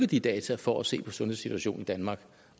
de data for at se på sundhedssituationen i danmark